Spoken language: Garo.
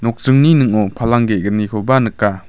nokdringni ning·o palang ge·gnikoba nika.